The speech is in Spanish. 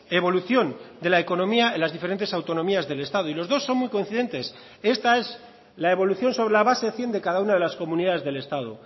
evolución de la economía en las diferentes autonomías del estado y los dos son muy coincidentes esta es la evolución sobre la base cien de cada una de las comunidades del estado